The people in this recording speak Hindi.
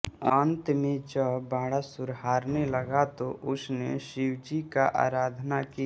अंत में जब बाणासुर हारने लगा तो उसने शिवजी की आराधना की